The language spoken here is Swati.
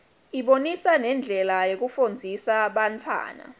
ibonisa nendlela yokufundzisa bantfwana